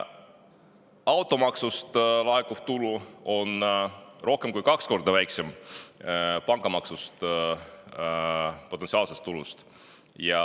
Automaksust laekuv tulu on rohkem kui kaks korda väiksem pangamaksu potentsiaalsest tulust.